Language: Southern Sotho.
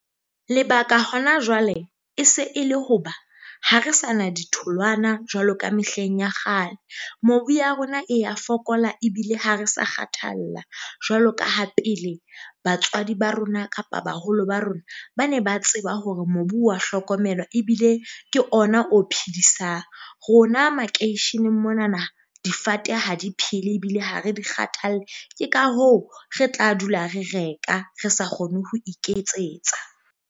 Lebaka hona jwale e se e le hoba ha re sa na ditholwana jwalo ka mehleng ya kgale, mobu ya rona e ya fokola, ebile ha re sa kgathalla jwalo ka ha pele batswadi ba rona kapa baholo ba rona, ba ne ba tseba hore mobu wa hlokomelwa ebile ke ona o phedisang. Rona makeisheneng mona na difate ha di phele ebile ha re di kgathalle. Ke ka hoo re tla dula re reka re sa kgone ho iketsetsa.